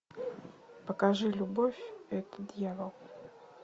покажи любовь это дьявол